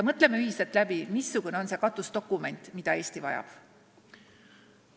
Mõtleme ühiselt läbi, mis võiks olla see katusdokument, mida Eesti vajab!